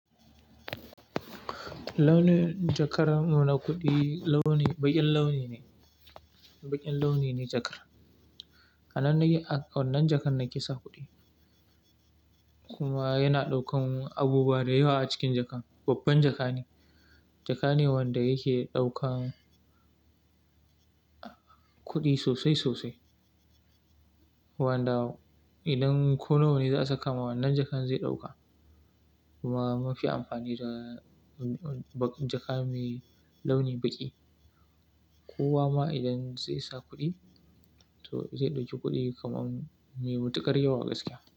Launin jakar mu na kuɗi, launi baƙin launi ne, baƙin launi ne jakar. A wannan jakar nake sa kuɗi kuma yana ɗaukan abubuwa da yawa a cikin jakar. Babban jaka ne, jaka ne wanda yake ɗaukan kuɗi sosai sosai. Wanda idan ko nawa ne za'a saka ma wannan jakan zai ɗauka kuma mun fi amfani da jaka mai launi baƙi. Kowa ma idan zai sa kuɗi to zai ɗauki kuɗi kaman mai matuƙar yawa gaskiya.